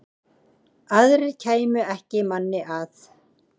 Aðrir kæmu ekki manni að.